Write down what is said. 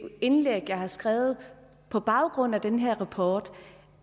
indlæg jeg har skrevet på baggrund af den her rapport